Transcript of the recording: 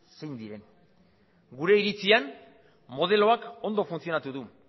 zeintzuk diren gure iritzian modeloak ondo funtzionatu du